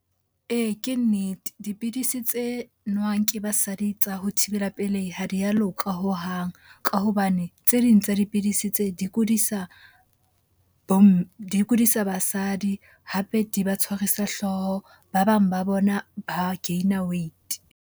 Ee, ke nnete. Dipidisi tse nowang ke basadi tsa ho thibela pelehi ha di a loka hohang. Ka hobane tse ding tsa dipidisi tse, di kudisa di kudisa basadi hape di ba tshwarisa hlooho. Ba bang ba bona ba gain-er weight.